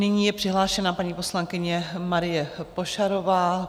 Nyní je přihlášena paní poslankyně Marie Pošarová.